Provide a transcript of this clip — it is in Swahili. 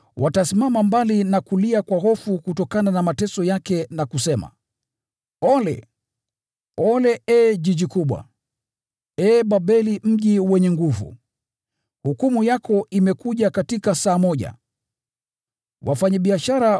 Kwa hofu kubwa ya mateso yake, watasimama mbali na kulia na wakisema: “ ‘Ole! Ole, ee mji mkubwa, ee Babeli mji wenye nguvu! Hukumu yako imekuja katika saa moja!’